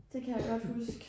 Det kan jeg godt husk